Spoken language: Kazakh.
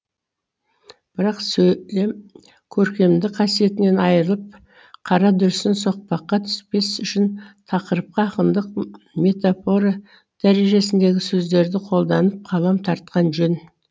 бірақ сөйлем көркемдік қасиетінен айырылып қарадүрсін соқпаққа түспес үшін тақырыпқа ақындық метафора дәрежесіндегі сөздерді қолданып қалам тартқан жөн